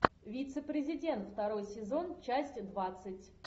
вице президент второй сезон часть двадцать